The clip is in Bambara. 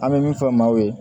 An bɛ min fɔ maaw ye